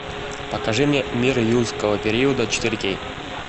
покажи мне мир юрского периода четыре кей